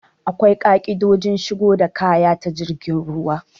Akwai ƙa'idojin shigo da kaya ta jirgin ruwa.